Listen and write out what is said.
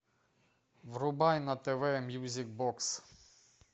врубай на тв мьюзик бокс